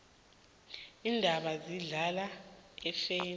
iintaba zihlala iimfene